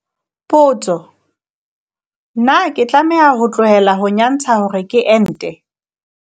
Potso- Na ke tlameha ho tlohela ho nyantsha hore ke ente?